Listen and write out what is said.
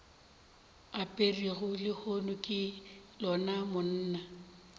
aperego lehono ke lona monna